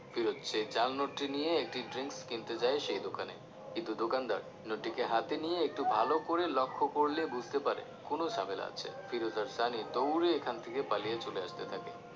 ফিরোজ সেই জাল নোটটি নিয়ে একটি drinks কিনতে যায় সেই দোকানে কিন্তু দোকানদার নোট টিকে হাতে নিয়ে একটু ভালো করে লক্ষ্য করলে বুঝতে পারে কোন ঝামেলা আছে ফিরোজ আর সানি দৌড়ে এখান থেকে পালিয়ে চলে আসতে থাকে